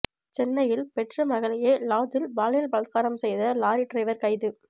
சென்னையில் பெற்ற மகளையே லாட்ஜில் பாலியல் பலாத்காரம் செய்த லாரி டிரைவர் கைது